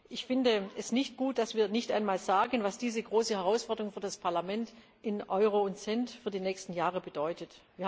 Ich finde es nicht gut, dass wir nicht einmal sagen, was diese große Herausforderung für das Parlament in Euro und Cent für die nächsten Jahre bedeutet.